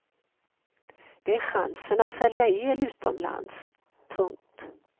Det är chansen att sälja el utomlands. punkt